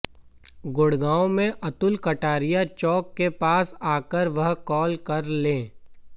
गुडग़ांव में अतुल कटारिया चौक के पास आकर वह कॉल कर लें